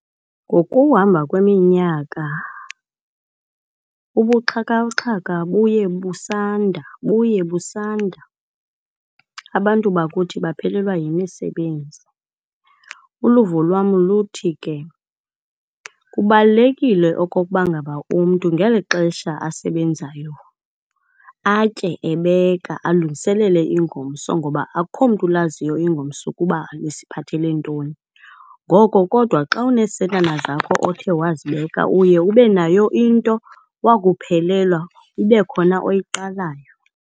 Ngokuhamba kweminyaka ubuxhakaxhaka buye busanda buye busanda, abantu bakuthi baphelelwa yimisebenzi. Uluvo lwam luthi ke kubalulekile okokuba ngaba umntu ngeli xesha asebenzayo atye ebeka alungiselele ingomso ngoba akukho mntu ulaziyo ingomso ukuba lisiphathele ntoni. Ngoko, kodwa xa unesentana zakho othe wazibeka uye ube nayo into wakuphelelwa ibe khona oyiqalayo.